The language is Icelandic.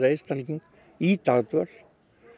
einstakling í dagdvöl